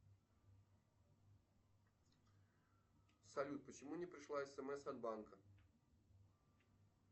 салют почему не пришла смс от банка